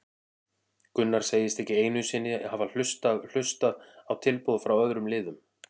Gunnar segist ekki einu sinni hafa hlustað hlustað á tilboð frá öðrum liðum.